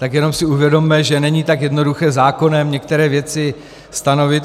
Tak jenom si uvědomme, že není tak jednoduché zákonem některé věci stanovit.